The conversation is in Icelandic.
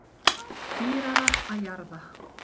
Dýrara að jarða